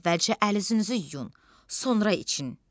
Əvvəlcə əl-üzünüzü yuyun, sonra için.